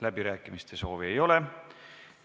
Läbirääkimiste soovi ei ole.